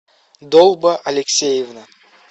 долба алексеевна